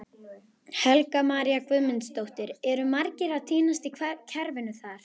Helga María Guðmundsdóttir: Eru margir að týnast í kerfinu þar?